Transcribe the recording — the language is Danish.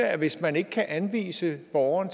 at hvis man ikke kan anvise borgeren